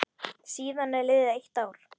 Síðan er liðið eitt ár.